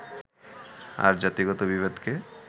আর জাতিগত বিভেদকে